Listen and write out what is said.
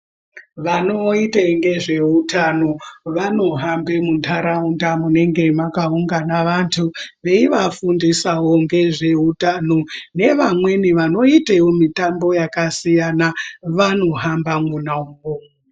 Vanoite ngezveutano vanohambe muntaraunda munenge makaungana vantu veivafundisawo ngezveutano, nevamweni vanoitewo mitambo yakasiyana vanohamba mwona imwo.